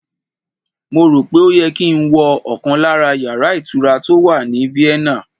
Mo rò pé ó yẹ kí n wo ọkàn lára yàrá ìtura tó wà ní Vienna